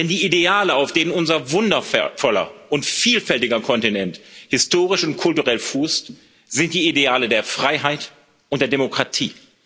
Denn die Ideale, auf denen unser wundervoller und vielfältiger Kontinent historisch und kulturell fußt, sind die Ideale der Freiheit und der Demokratie.